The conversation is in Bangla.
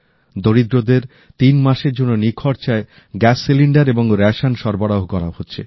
দরিদ্রদের তিন মাসের জন্য নিখরচায় গ্যাস সিলিন্ডার এবং রেশন সরবরাহ করা হচ্ছে